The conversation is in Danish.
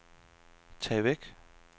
tag væk